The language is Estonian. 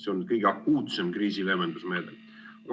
See on kõige akuutsem kriisileevendusmeede!